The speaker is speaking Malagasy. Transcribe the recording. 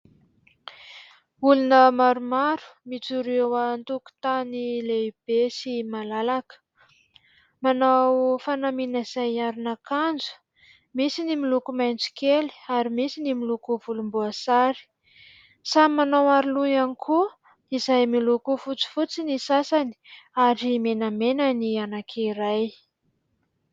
Olona maromaro mijoro eo an-tokontany lehibe sy malalaka. Manao fanamiana izay aron'akanjo : misy ny miloko maitso kely ary misy ny miloko volom-boasary, samy manao aro loha ihany koa, izay miloko fotsifotsy ny sasany ary menamena ny iray.